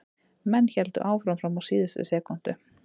Menn héldu áfram fram á síðustu sekúndu.